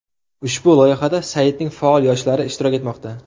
Ushbu loyihada saytning faol yoshlari ishtirok etmoqda.